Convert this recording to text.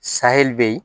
be yen